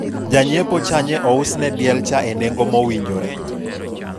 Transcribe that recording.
janyiepocha nye ousne diel cha e nengo mowinjore